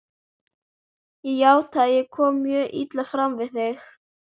Ég játa að ég kom mjög illa fram við þig.